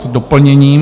S doplněním.